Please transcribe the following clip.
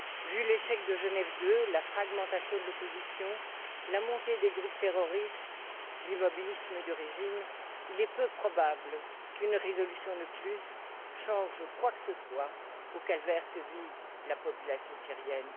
Vu l'échec de GenèveII, la fragmentation de l'opposition, la montée des groupes terroristes et l'immobilisme du régime, il est peu probable qu'une résolution de plus change quoi que ce soit au calvaire que vit la population syrienne.